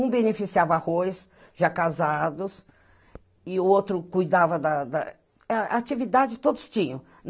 Um beneficiava arroz, já casados, e o outro cuidava da da... Atividade todos tinham.